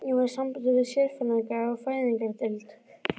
Ég var í sambandi við sérfræðinga á fæðingardeild